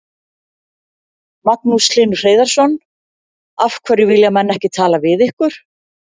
Magnús Hlynur Hreiðarsson: Af hverju vilja menn ekki tala við ykkur?